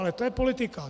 Ale to je politika.